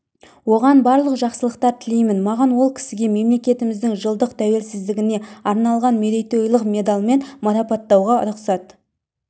оған барлық жақсылықтар тілеймін маған ол кісіге мемлекетіміздің жылдық тәуелсіздігіне арналған мерейтойлық медальмен марапаттауға рұқсат